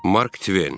Mark Tven.